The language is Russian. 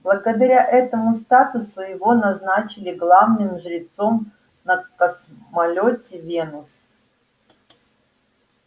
благодаря этому статусу его назначили главным жрецом на космолёте венус